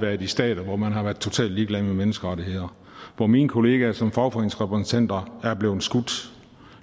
været i stater hvor man har været totalt ligeglad med menneskerettigheder hvor mine kollegaer som fagforeningsrepræsentanter er blevet skudt